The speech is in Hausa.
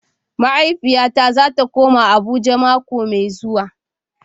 Mahaifiyata zata koma Abuja mako mai zuwa.